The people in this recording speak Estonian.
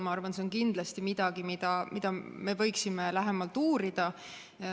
Ma arvan, et see on kindlasti midagi, mida me võiksime lähemalt uurida.